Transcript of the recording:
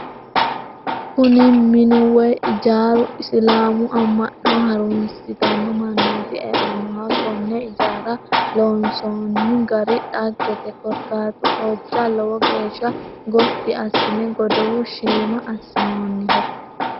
Kuni minu woy ijaaru islaamu amma'no harunsitanno mannooti e'annoho. Konne ijaara loonsoonno gari dhaggete korkaatunohojja lowo geeshsha gotti assine godow shiima assinoonniho.